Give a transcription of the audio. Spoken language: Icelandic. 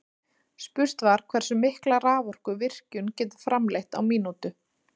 Spurt var hversu mikla raforku virkjun getur framleitt á mínútu.